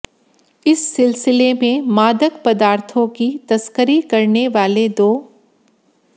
इस सिलसिले में मादक पदार्थो की तस्करी करने वाले दो